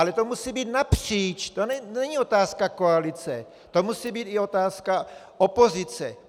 Ale to musí být napříč, to není otázka koalice, to musí být i otázka opozice.